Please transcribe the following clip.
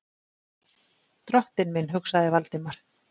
Drottinn minn, hugsaði Valdimar.